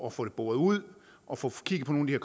at få det boret ud og få kigget på nogle af